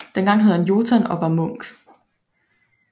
Dengang hed han Jotan og var munk